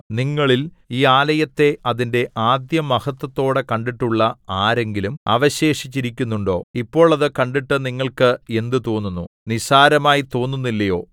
നിങ്ങളിൽ ഈ ആലയത്തെ അതിന്റെ ആദ്യമഹത്ത്വത്തോടെ കണ്ടിട്ടുള്ള ആരെങ്കിലും അവശേഷിച്ചിരിക്കുന്നുണ്ടോ ഇപ്പോൾ അത് കണ്ടിട്ട് നിങ്ങൾക്ക് എന്ത് തോന്നുന്നു നിസ്സാരമായി തോന്നുന്നില്ലയോ